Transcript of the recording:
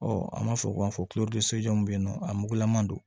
an b'a fɔ u k'a fɔ bɛ yen nɔ a mugulama don